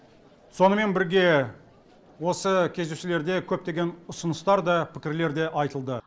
сонымен бірге осы кездесулерде көптеген ұсыныстар да пікірлер де айтылды